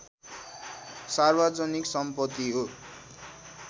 सार्वजनिक सम्पति हो